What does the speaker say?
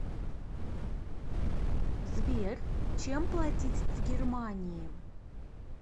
сбер чем платить в германии